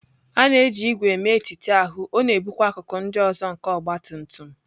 A na-eji ígwè mee etiti ahụ, ọ na-ebukwa akụkụ ndị ọzọ nke ọgbatumtum.